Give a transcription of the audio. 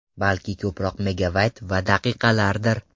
Balki ko‘proq megabayt va daqiqalarnidir?!